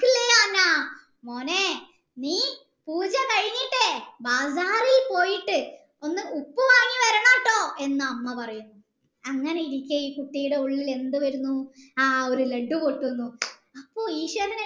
മോനെ നീ പൂജ കഴിഞ്ഞിട്ടേ ബാഗാറിൽ പോയിട്ട് ഒന്ന് ഉപ്പ് വാങ്ങി വരണെട്ടോ എന്നു 'അമ്മ പറയുന്നു അങ്ങനെ ഇരിക്കെ ഈ കുട്ടിയുടെ ഉള്ളിൽ എന്തു വരുന്നു ആ ഒരു ലഡു പൊട്ടുന്നു അപ്പൊ ഈശ്വരൻ